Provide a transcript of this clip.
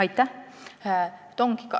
Aitäh!